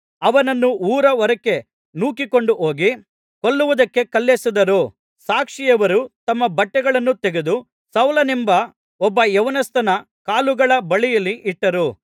ಅವನನ್ನು ಊರ ಹೊರಕ್ಕೆ ನೂಕಿಕೊಂಡು ಹೋಗಿ ಕೊಲ್ಲುವುದಕ್ಕೆ ಕಲ್ಲೆಸೆದರು ಸಾಕ್ಷಿಯವರು ತಮ್ಮ ಬಟ್ಟೆಗಳನ್ನು ತೆಗೆದು ಸೌಲನೆಂಬ ಒಬ್ಬ ಯೌವನಸ್ಥನ ಕಾಲುಗಳ ಬಳಿಯಲ್ಲಿ ಇಟ್ಟರು